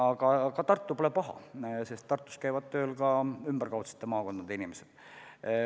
Ja ega Tartu pole paha, Tartus käivad tööl ka ümberkaudsete maakondade inimesed.